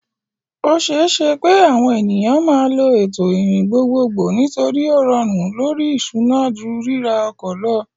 O ṣeé ṣe pé àwọn ènìyàn máa lo ètò ìrìn gbogbogbò nítorí ó rọrùn lórí ìṣúná ju ríra ọkọ̀ lọ.